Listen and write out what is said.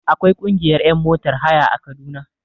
Akwai ƙungiyar ƴan motar haya a kaduna